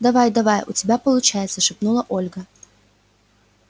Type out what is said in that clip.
давай-давай у тебя получается шепнула ольга